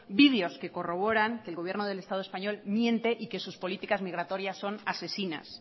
videos que corroboran que el gobierno del estado español miente y que sus políticas migratorias son asesinas